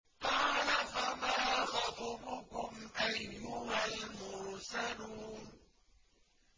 قَالَ فَمَا خَطْبُكُمْ أَيُّهَا الْمُرْسَلُونَ